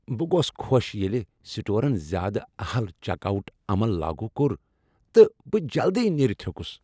بہٕ گوس خوش ییٚلہ سٹورن زیادٕ اہل چیک آؤٹ عمل لاگو کوٚر تہٕ بہٕ جلدی نیرتھ ہِیوٚکُس ۔